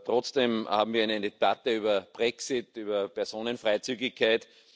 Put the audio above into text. Trotzdem haben wir eine Debatte über den Brexit, über Personenfreizügigkeit.